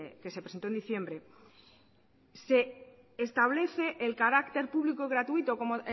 que se presentó en diciembre se establece el carácter público gratuito como